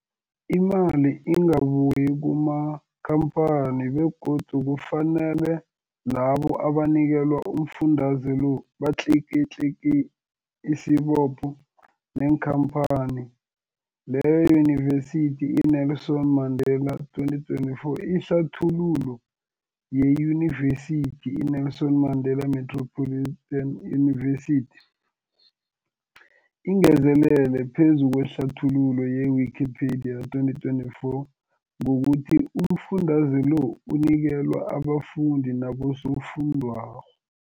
Imali ingabuyi kumakhamphani begodu kufanele labo abanikelwa umfundaze lo batlikitliki isibopho neenkhamphani leyo, Yunivesity i-Nelson Mandela 2024. Ihlathululo yeYunivesithi i-Nelson Mandela Metropolitan University, ingezelele phezu kwehlathululo ye-Wikipedia, 2024, ngokuthi umfundaze lo unikelwa abafundi nabosofundwakgho.